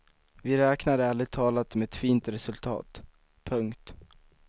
Vi räknar ärligt talat med ett fint resultat. punkt